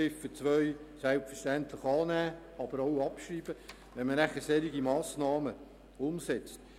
deshalb sollte man Ziffer 2 selbstverständlich annehmen, aber auch abschreiben.